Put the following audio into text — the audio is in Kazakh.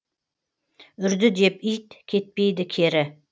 үрді деп ит кетпейді кері